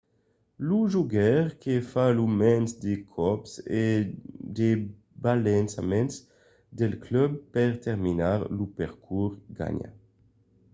lo jogaire que fa lo mens de còps o de balançaments del club per terminar lo percors ganha